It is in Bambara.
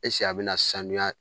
a bɛ na sanuya